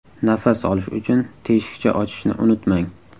Nafas olish uchun teshikcha ochishni unutmang.